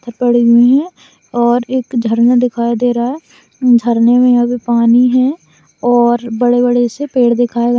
और एक झरना दिखाई दे रहा है झरने मे अभी पानी है और बड़े-बड़े से पेड़ दिखाई--